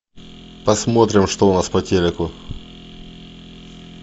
посмотрим что у нас по телеку